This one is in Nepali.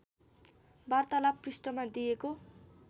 वार्तालाप पृष्ठमा दिएको